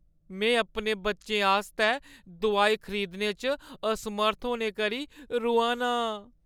मैं अपने बच्चें आस्तै दोआई खरीदने च असमर्थ होने करी रोआ ना आं।